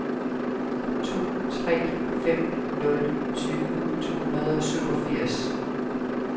to tre fem nul tyve to hundrede og syvogfirs